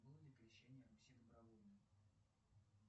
было ли крещение руси добровольно